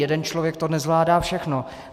Jeden člověk to nezvládá všechno.